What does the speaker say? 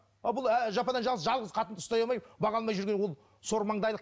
ал бұл әлі жападан жалғыз жалғыз қатынды ұстай алмай баға алмай жүр ол сормаңдайлық